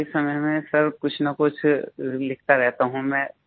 खाली समय में सर कुछनकुछ लिखता रहता हूँ मैं